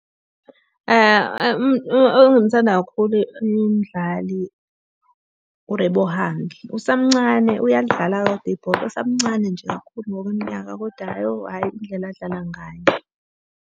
Engimthanda kakhulu umdlali uRebohang. Usamncane uyalidlala kodwa ibhola, usamncane nje kakhulu ngokweminyaka koda hhayi oh hhayi indlela adlala ngayo.